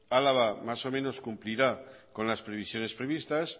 álava más o menos cumplirá con las previsiones previstas